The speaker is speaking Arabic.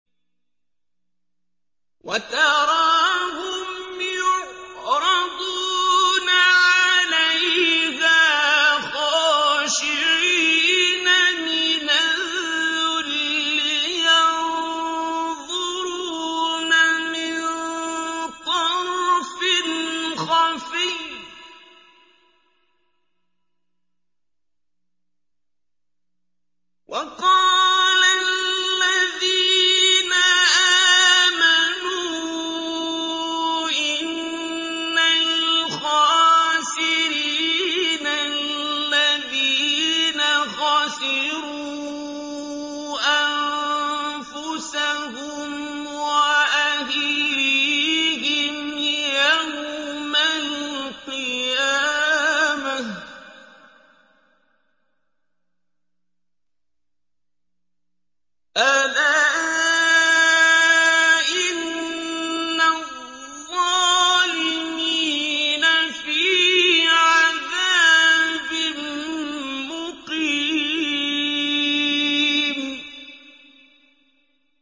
وَتَرَاهُمْ يُعْرَضُونَ عَلَيْهَا خَاشِعِينَ مِنَ الذُّلِّ يَنظُرُونَ مِن طَرْفٍ خَفِيٍّ ۗ وَقَالَ الَّذِينَ آمَنُوا إِنَّ الْخَاسِرِينَ الَّذِينَ خَسِرُوا أَنفُسَهُمْ وَأَهْلِيهِمْ يَوْمَ الْقِيَامَةِ ۗ أَلَا إِنَّ الظَّالِمِينَ فِي عَذَابٍ مُّقِيمٍ